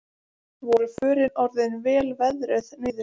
Voru förin orðin vel veðruð niður